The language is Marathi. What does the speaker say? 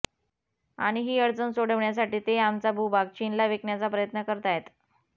आणि ही अडचण सोडवण्यासाठी ते आमचा भूभाग चीनला विकण्याचा प्रयत्न करतायत